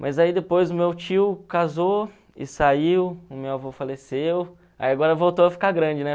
Mas aí depois o meu tio casou e saiu, o meu avô faleceu, aí agora voltou a ficar grande, né?